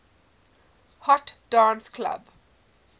hot dance club